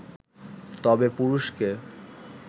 তবে পুরুষকে